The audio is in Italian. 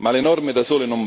ma le norme da sole non bastano.